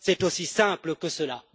c'est aussi simple que cela.